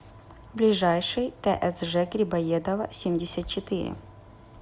ближайший тсж грибоедова семьдесят четыре